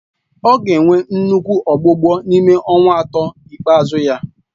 Ọ ga-enwe nnukwu ọgbụgbọ n'ime ọnwa atọ ikpeazụ ya